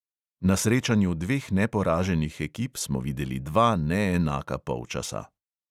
Na srečanju dveh neporaženih ekip smo videli dva neenaka polčasa.